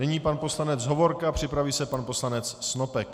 Nyní pan poslanec Hovorka, připraví se pan poslanec Snopek.